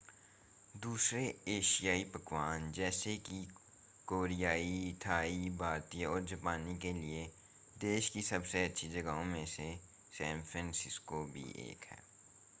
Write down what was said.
दूसरे एशियाई पकवान जैसे कि कोरियाई थाई भारतीय और जापानी के लिए देश की सबसे अच्छी जगहों में से सैन फ़्रांसिस्को भी एक है